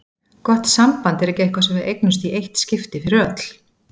Gott samband er ekki eitthvað sem við eignumst í eitt skipti fyrir öll.